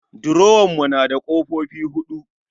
Durowar mu na da kofofi huɗu